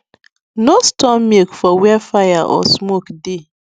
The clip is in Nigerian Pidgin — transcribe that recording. no store milk for where fire or smoke dey